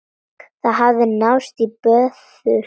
Það hafði náðst í böðul.